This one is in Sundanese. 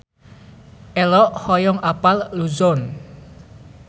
Ello hoyong apal Luzon